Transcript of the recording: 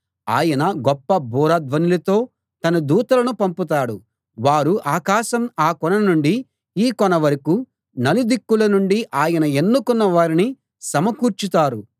ఆయన గొప్ప బూర ధ్వనులతో తన దూతలను పంపుతాడు వారు ఆకాశం ఆ కొన నుండి ఈ కొన వరకూ నలుదిక్కుల నుండీ ఆయన ఎన్నుకున్న వారిని సమకూర్చుతారు